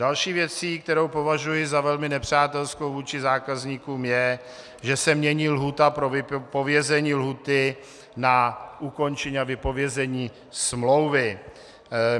Další věcí, kterou považuji za velmi nepřátelskou vůči zákazníkům, je, že se mění lhůta pro vypovězení lhůty na ukončení a vypovězení smlouvy.